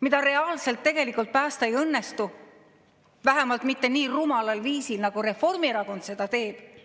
mida tegelikult päästa ei õnnestu, vähemalt mitte nii rumalal viisil, nagu Reformierakond seda teeb.